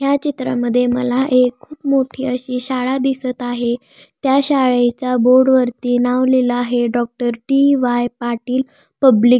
या चित्रामध्ये मला एक मोठी अशी शाळा दिसत आहे त्या शाळेच्या बोर्डवरती नाव लिहल आहे डॉक्टर डी.वाय. पाटील पब्लिक --